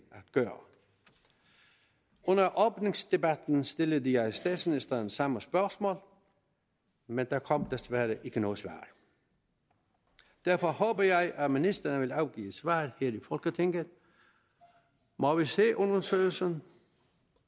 at gøre under åbningsdebatten stillede jeg statsministeren samme spørgsmål men der kom desværre ikke noget svar derfor håber jeg at ministeren vil afgive et svar her i folketinget må vi se undersøgelsen